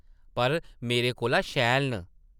पर मेरे कोला शैल न ।